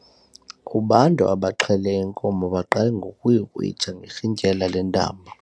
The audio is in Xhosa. Ubantu abaxhele inkomo baqale ngokuyikrwitsha ngerhintyela lentambo.